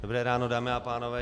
Dobré ráno, dámy a pánové.